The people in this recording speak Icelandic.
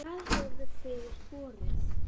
Hvað hefur fyrir borið?